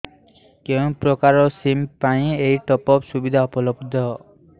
କେଉଁ ପ୍ରକାର ସିମ୍ ପାଇଁ ଏଇ ଟପ୍ଅପ୍ ସୁବିଧା ଉପଲବ୍ଧ